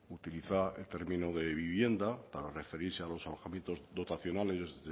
utiliza el término de vivienda para referirse a los alojamientos dotacionales